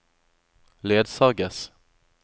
ledsages